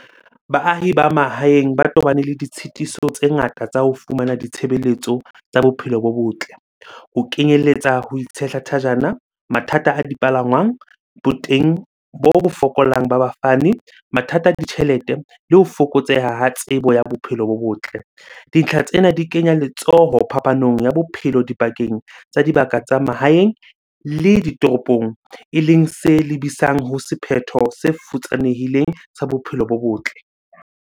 Baahi ba mahaeng ba tobane le ditshitiso tse ngata tsa ho fumana ditshebeletso tsa bophelo bo botle. Ho kenyelletsa ho itshehla thajana, mathata a dipalangwang, boteng bo fokolang ba bafani, mathata a ditjhelete le ho fokotseha ha tsebo ya bophelo bo botle. Dintlha tsena di kenya letsoho phapanong ya bophelo dipakeng tsa dibaka tsa mahaeng le ditoropong. Eleng se lebisang ho sephetho se futsanehileng sa bophelo bo botle.